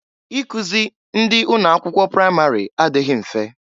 Ikuzi ndị ụnọ akwụkwọ pramarị adịghị mfe.